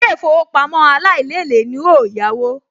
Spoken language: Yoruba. Ilé-ìfowópamọ́ aláìlélèé ni n óò yáwó